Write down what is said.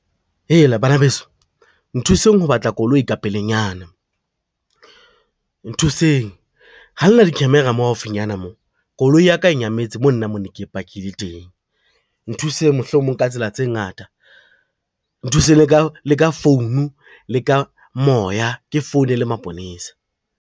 Heela bana beso, nthuseng ho batla koloi ka pelenyana nthuseng, ha le na di-camera mo haufinyana mo, koloi ya ka e nyametse moo nna mo ne ke pakile teng, nthuseng mohlomong ka tsela tse ngata, nthuseng le ka le ka phone, le ka moya ke founela maponesa.